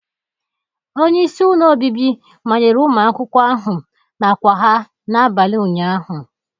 Onye isi ụlọ obibi manyere ụmụ akwụkwọ ahụ n'àkwà ha n'abalị ụnyaahụ